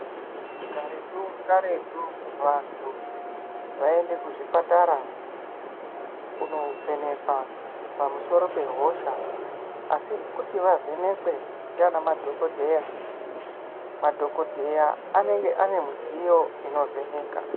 Karetu karetu vantu vayienda kuzvipatara kuno vhenekwa pamusoro pehosha asi kuti avhenekwe ndivana madhokodheya madhokodheya anenge ane mudziyo inovheneka.